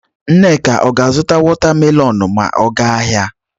Nneka ọ ga-azụta watamelonụ ma ọ ga ahịa?